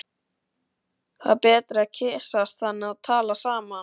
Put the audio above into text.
Það er betra að kyssast þannig og tala saman.